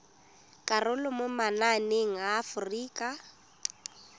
karolo mo mananeng a aforika